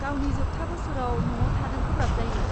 गावनि जोबथा बोसोराव न'आव थानो गोब्राब जायो।